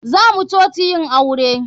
Zamu coci yin aure.